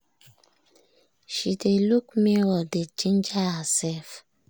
she dey luk mirror dey ginger herself